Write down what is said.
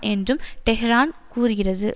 என்றும் டெஹ்ரான் கூறுகிறது